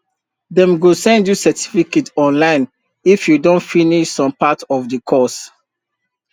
dem go send you certificate online if you don finish some part of the course